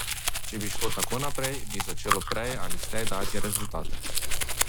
Če bi šlo tako naprej, bi začelo prej ali slej dajati rezultate.